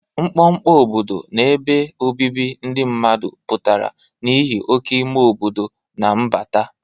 Mkpọkpọ obodo na ebe obibi ndị mmadụ pụtara n'ihi oke ime obodo na mbata.